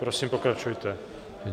Prosím, pokračujte.